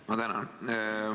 Ma tänan!